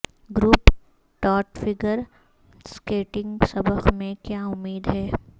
group ٹاٹ figure skating سبق میں کیا امید ہے